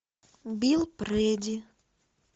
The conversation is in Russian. билл прэди